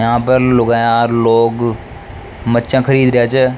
यह पर लुगाया लोग मच्छा ख़रीद रेया छे।